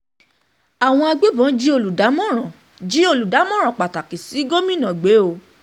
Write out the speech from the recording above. àwọn um agbébọ́n jí olùdámọ̀ràn jí olùdámọ̀ràn pàtàkì sí gómìnà gbé o um